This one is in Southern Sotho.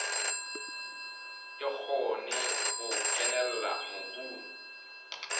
e kgone ho kenella mobung